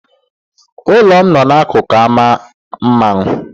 Ụlọ m no n'akụkụ ámá mmanwụ.